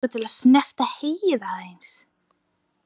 Mig langar til að snerta heyið aðeins.